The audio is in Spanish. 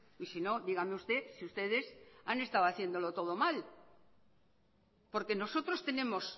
y sino dígame usted si ustedes han estado haciéndolo todo mal porque nosotros tenemos